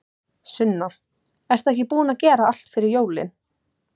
Sunna: Ertu ekki búin að gera allt fyrir jólin?